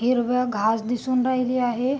हिरव घास दिसून राहीली आहे.